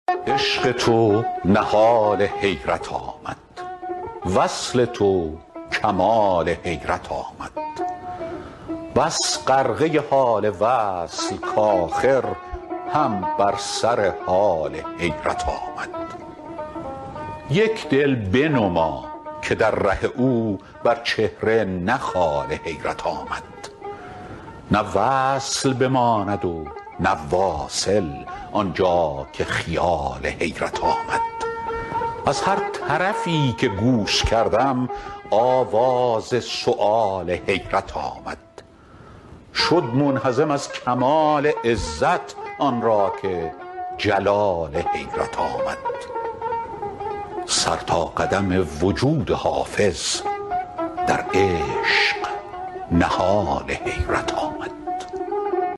عشق تو نهال حیرت آمد وصل تو کمال حیرت آمد بس غرقه حال وصل کآخر هم بر سر حال حیرت آمد یک دل بنما که در ره او بر چهره نه خال حیرت آمد نه وصل بماند و نه واصل آن جا که خیال حیرت آمد از هر طرفی که گوش کردم آواز سؤال حیرت آمد شد منهزم از کمال عزت آن را که جلال حیرت آمد سر تا قدم وجود حافظ در عشق نهال حیرت آمد